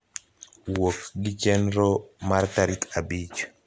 wuok gi chenro mar tarik abich